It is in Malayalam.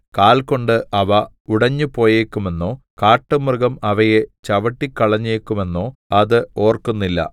കാൽ കൊണ്ട് അവ ഉടഞ്ഞുപോയേക്കുമെന്നോ കാട്ടുമൃഗം അവയെ ചവിട്ടിക്കളഞ്ഞേക്കുമെന്നോ അത് ഓർക്കുന്നില്ല